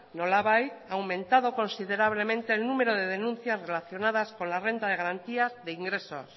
nolabait ha aumentado considerablemente el número de denuncias relacionadas con la renta de garantías y de ingresos